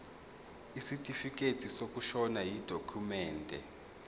isitifikedi sokushona yidokhumende